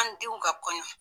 An denw ka kɔɲɔn.